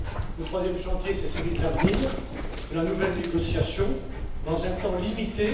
Le troisième chantier, c'est celui de l'avenir, de la nouvelle négociation, dans un temps limité.